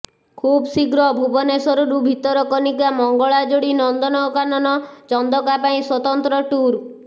ଖୁବ୍ ଶୀଘ୍ର ଭୁବନେଶ୍ବରରୁ ଭିତରକନିକା ମଙ୍ଗଳାଯୋଡ଼ି ନନ୍ଦନକାନନ ଚନ୍ଦକା ପାଇଁ ସ୍ବତନ୍ତ୍ର ଟୁର୍